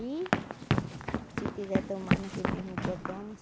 E se quiser tomar naquele mesmo dia, toma.